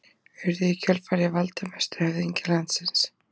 Þeir Gissur og Kolbeinn ungi urðu í kjölfarið valdamestu höfðingjar landsins.